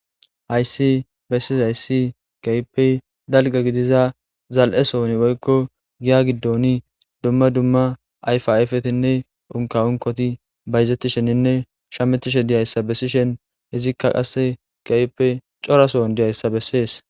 hayssi bessis hayssi kaypey dalga gidiza zal7e sohoni woykko giya giddoni dumma dumma ayfa ayfetinne unka unkoti bayzeti sheninne shametishe diyayssa bessishen hizikka qasse gaype corasoon diyayssa bessees